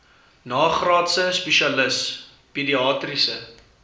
nagraadse spesialis pediatriese